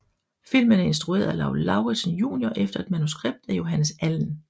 Filmen er instrueret af Lau Lauritzen junior efter et manuskript af Johannes Allen